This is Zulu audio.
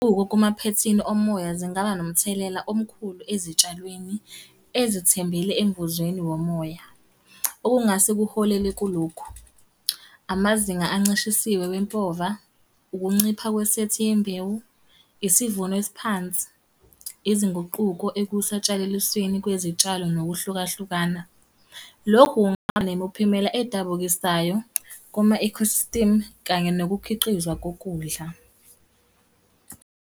Kumaphethini omoya zingaba nomthelela omkhulu ezitshalweni ezithembele emvuzweni womoya, okungase kuholele kulokhu. Amazinga ancishisiwe wempova, ukuncipha kwesethi yembewu. Isivuno esiphansi. Izinguquko ekusantshalalisweni kwezitshalo nokuhlukahlukana. Lokhu kungaba nemiphumela edabukisayo kuma-ecosystem, kanye nokukhiqizwa kokudla.